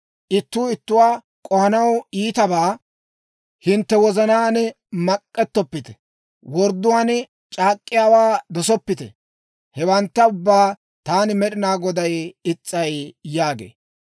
ittuu ittuwaa k'ohanaw iitabaa hintte wozanaan mak'ettoppite; wordduwaan c'aak'k'iyaawaa dosoppite. Hewantta ubbaa taani Med'inaa Goday is's'ay» yaagee.